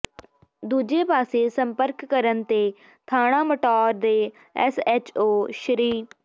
ਦੂਜੇ ਪਾਸੇ ਸੰਪਰਕ ਕਰਨ ਤੇ ਥਾਣਾ ਮਟੌਰ ਦੇ ਐਸ ਐਚ ਓ ਸ੍ਰ